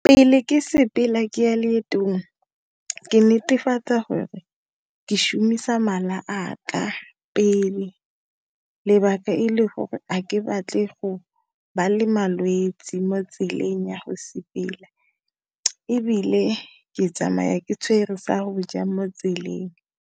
Pele ke sepela ke ya loetong, ke netefatsa gore ke šomiša mala a ka pele, lebaka e le gore a ke batle go ba le malwetsi mo tseleng ya go sepela, ebile ke tsamaya ke tshwere sa go ja mo tseleng.